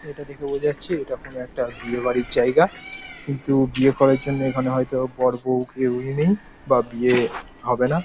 এটা দেখে বোঝা যাচ্ছে এটা কোনো একটা বিয়ে বাড়ির জায়গা কিন্তু বিয়ে করার জন্যে এখানে হয়তো বর বৌ কেউই নেই বা বিয়ে হবে না।